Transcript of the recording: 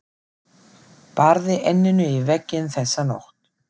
Barði enninu í vegginn þessa nótt.